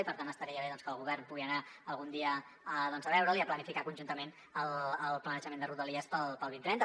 i per tant estaria bé doncs que el govern pugui anar algun dia a veure’l i a planificar conjuntament el planejament de rodalies per al dos mil trenta